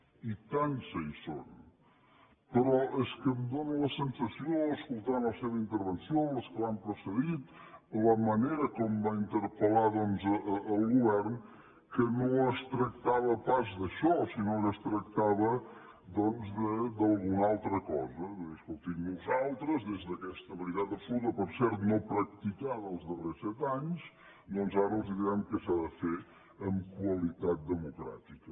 oi tant que hi són però és que em fa la sensació escoltant la seva intervenció les que m’han precedit la manera com va interpel·lar doncs el govern que no es tractava pas d’això sinó que es tractava d’alguna altra cosa de dir escolti nosaltres des d’aquesta veritat absoluta per cert no practicada els darrers set anys doncs ara els direm què s’ha de fer amb qualitat democràtica